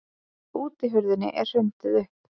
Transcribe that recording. Útihurðinni er hrundið upp.